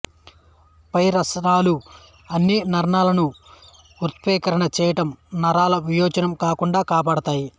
పై రసాయనాలు అన్నీ నరాల ను ఉత్ప్రేరణ చేయడం నరాలు వినాచనం కాకుండా కాపాడుతాయి